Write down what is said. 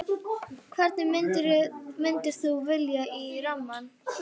Hvern myndir þú velja í rammann?